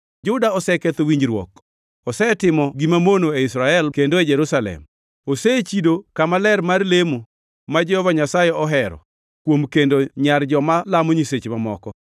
Juda oseketho winjruok osetimo gima mono e Israel kendo e Jerusalem: Osechido kama ler mar lemo ma Jehova Nyasaye ohero kuom kendo nyar joma lamo nyiseche mamoko.